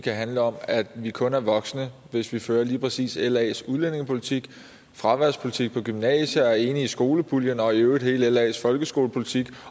kan handle om at vi kun er voksne hvis vi fører lige præcis las udlændingepolitik fraværspolitik på gymnasiet er enig i skolepuljen og i øvrigt hele las folkeskolepolitik